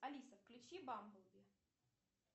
алиса включи бамблби